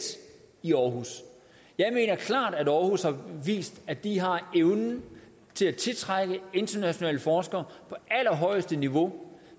i aarhus jeg mener klart at aarhus har vist at de har evnen til at tiltrække internationale forskere på allerhøjeste niveau